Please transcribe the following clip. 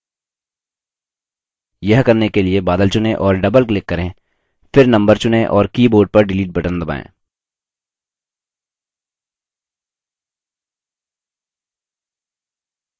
यह करने के लिए बादल चुनें और doubleclick करें फिर number चुनें और keyboard पर delete बटन दबाएँ